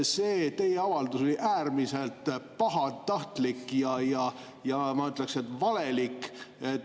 See teie avaldus oli äärmiselt pahatahtlik ja ma ütleks, et valelik.